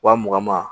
Wa mugan ma